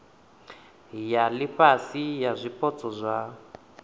ya ifhasi ya zwipotso zwa